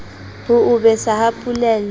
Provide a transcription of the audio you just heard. ho o besa ba polela